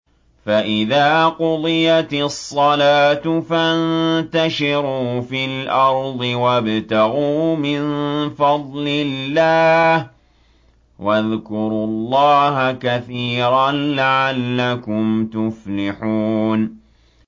فَإِذَا قُضِيَتِ الصَّلَاةُ فَانتَشِرُوا فِي الْأَرْضِ وَابْتَغُوا مِن فَضْلِ اللَّهِ وَاذْكُرُوا اللَّهَ كَثِيرًا لَّعَلَّكُمْ تُفْلِحُونَ